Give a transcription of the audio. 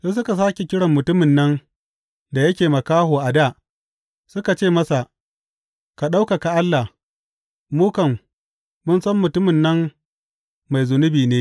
Sai suka sāke kiran mutumin nan da yake makaho a dā, suka ce masa, Ka ɗaukaka Allah, mu kam, mun san mutumin nan mai zunubi ne.